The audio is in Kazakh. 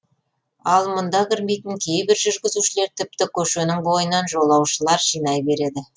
ал мұнда кірмейтін кейбір жүргізушілер тіпті көшенің бойынан жолаушылар жинай береді